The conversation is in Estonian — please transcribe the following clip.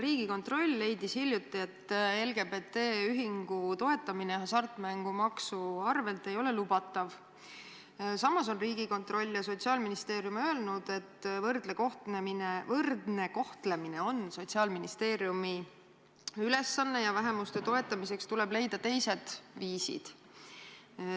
Riigikontroll leidis hiljuti, et LGBT ühingu toetamine hasartmängumaksu rahaga ei ole lubatav, samas on Riigikontroll ja Sotsiaalministeerium öelnud, et võrdne kohtlemine on Sotsiaalministeeriumi ülesanne ja vähemuste toetamiseks tuleb leida teised viisid.